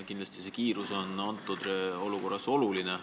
Kindlasti on kiirus antud olukorras oluline.